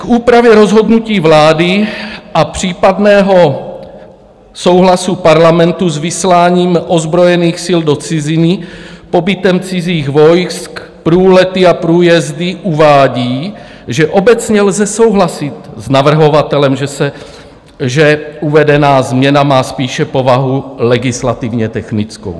K úpravě rozhodnutí vlády a případného souhlasu Parlamentu s vysláním ozbrojených sil do ciziny, pobytem cizích vojsk, průlety a průjezdy uvádí, že "obecně lze souhlasit s navrhovatelem, že uvedená změna má spíše povahu legislativně technickou.